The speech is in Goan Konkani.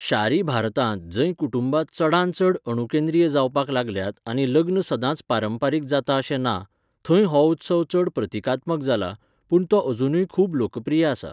शारी भारतांत, जंय कुटुंबां चडांत चड अणुकेंद्रीय जावपाक लागल्यात आनी लग्न सदांच पारंपारीक जाता अशें ना, थंय हो उत्सव चड प्रतिकात्मक जाला, पूण तो अजुनय खूब लोकप्रिय आसा.